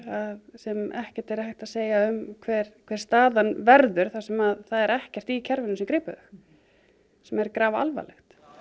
sem ekkert er hægt að segja til um hver hver staðan verður þar sem það er ekkert í kerfinu sem grípur þau sem er grafalvarlegt